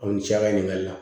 Aw ni ce a ka ɲininkali la